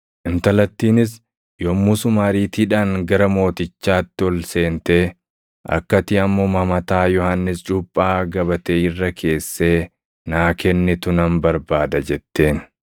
Intalattiinis yommusuma ariitiidhaan gara mootichaatti ol seentee, “Akka ati ammuma mataa Yohannis Cuuphaa gabatee irra keessee naa kennitu nan barbaada” jetteen.